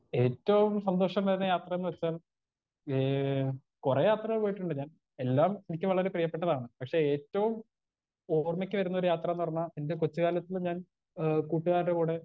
Speaker 1 ഏറ്റവും സന്തോഷമേറിയ യാത്രയെന്ന് വെച്ചാൽ ഏ കൊറേ യാത്ര പോയിട്ടുണ്ട് ഞാൻ എല്ലാം എനിക്ക് വളരെ പ്രിയപ്പെട്ടതാണ് പക്ഷെ ഏറ്റവും ഓർമ്മക്ക് വരുന്നൊരു യാത്രാന്ന് പറഞ്ഞാ എന്റെ കൊച്ച് കാലത്ത് ഞാൻ ഏ കൂട്ട്കാർടെ കൂടെ.